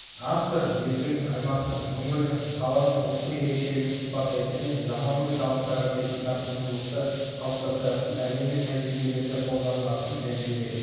автор елдің аймақтың өңірдің қаланың ұлттық ерекшелігін сипаттайтын және заманауи талаптарға сәйкес тартымдылықты қалыптастыратын әлемдік тәжірибелерде қолданылатын тәжірибе